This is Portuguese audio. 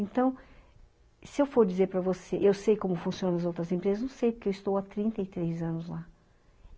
Então, se eu for dizer para você, eu sei como funcionam as outras empresas, não sei, porque eu estou há trinta e três anos lá.